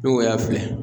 N'o y'a filɛ